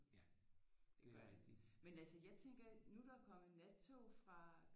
Det gør det men altså jeg tænker nu er der kommet nattog fra